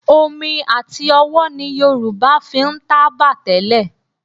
Omi àti ọwọ́ ni Yorùbá fi ń tábà tẹ́lẹ̀